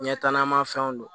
Ɲɛtaa na fɛnw don